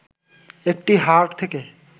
একটি হাড় থেকে